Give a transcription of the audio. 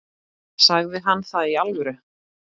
Sagði hann það í alvöru?